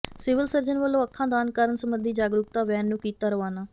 civil surgeon ਵਲੋਂ ਅੱਖਾਂ ਦਾਨ ਕਰਨ ਸਬੰਧੀ ਜਾਗਰੂਕਤਾ ਵੈਨ ਨੰੂ ਕੀਤਾ ਰਵਾਨਾ